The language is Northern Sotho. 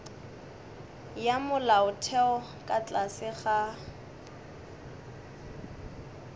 ya molaotheo ka tlase ga